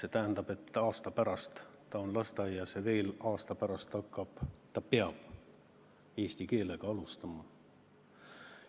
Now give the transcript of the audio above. See tähendab, et aasta pärast ta on lasteaias ja veel aasta pärast ta hakkab, õigemini peab hakkama eesti keelega alustama.